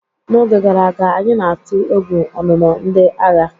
N'oge gara aga, anyị na-atụ egwu ọnụnọ ndị agha.